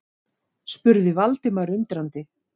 spurði Valdimar undrandi.